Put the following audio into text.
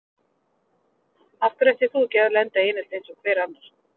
Af hverju ættir þú ekki að lenda í einelti eins og hver annar?